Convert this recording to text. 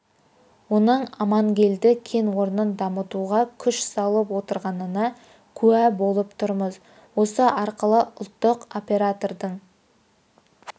оның амангельді кен орнын дамытуға күш салып отырғанына куә болып тұрмыз осы арқылы ұлттық оператордың